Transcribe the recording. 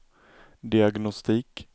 diagnostik